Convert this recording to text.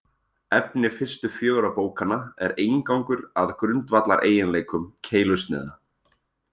Efni fyrstu fjögurra bókanna er inngangur að grundvallareiginleikum keilusniða.